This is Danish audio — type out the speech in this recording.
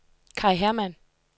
Kaj Hermann